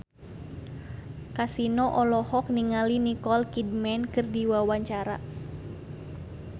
Kasino olohok ningali Nicole Kidman keur diwawancara